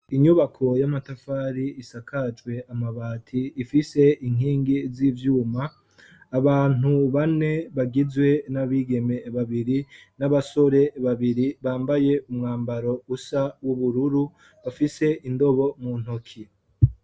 Inyubako y'amatafari isakajwe amabati ifise inkingi z'ivyuma abantu bane bagizwe n'abigeme babiri n'abasore babiri bambaye umwambaro usa w'ubururu bafise indobo mu ntoki.